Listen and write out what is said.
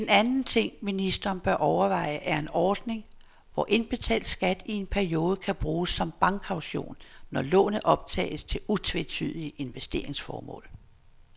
En anden ting, ministeren bør overveje, er en ordning, hvor indbetalt skat i en periode kan bruges som bankkaution, når lånet optages til utvetydige investeringsformål.